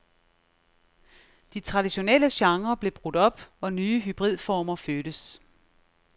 De traditionelle genrer blev brudt op, og nye hybridformer fødtes.